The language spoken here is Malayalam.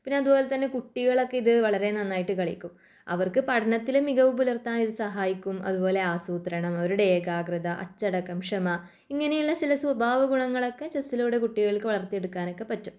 പിന്നെ അതുപോലെ തന്നെ കുട്ടികളൊക്കെ ഇത് വളരെ നന്നായിട്ട് കളിക്കും അവർക്ക് പഠനത്തിലെ മികവു പുലർത്താനിത് സഹായിക്കും അതുപോലെ ആസൂത്രണം അവരുടെ ഏകാകൃത അച്ചടക്കം ക്ഷമ ഇങ്ങനെയുള്ള ചില സ്വഭാവ ഗുണങ്ങളൊക്കെ ചെസ്സിലൂടെ കുട്ടികൾക്ക് വളർത്തിയെടുക്കാനൊക്കെ പറ്റും.